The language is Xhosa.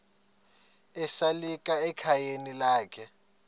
esalika ekhayeni lakhe